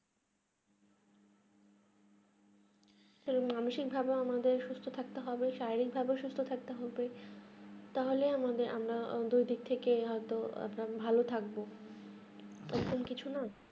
তো মানসিক ভাবে আমাদের কে সুস্থ থাকতে হবে শাররীক ভাবে সুস্থ থাকতে হবে তাহলেই আমাদের আমরা নিজের দিক থাকে হয় তো আমরা ভালো থাকবো এই রকম কিছু নেই